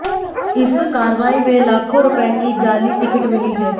इस कार्रवाई में लाखों रुपए की जाली टिकट मिली हैं